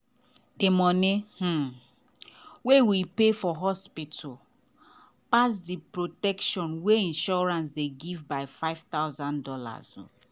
the money um wey we pay for hospital pass the protection wey insurance dey give by five thousand dollars.